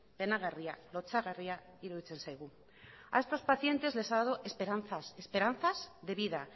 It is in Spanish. penagarria lotsagarria iruditzen zaigu a estos pacientes les ha dado esperanzas esperanzas de vida